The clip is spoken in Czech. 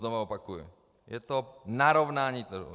Znovu opakuj, je to narovnání trhu.